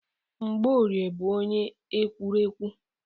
Mgbọorie bụ onye ekwurekwu.